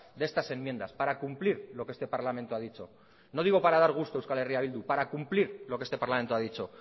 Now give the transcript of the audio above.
de estas enmiendas para cumplir lo que este parlamento ha dicho no digo para dar gusto a euskal herria bildu para cumplir lo que este parlamento ha dicho